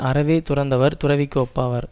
அறவே துறந்தவர் துறவிக்கு ஒப்பாவார்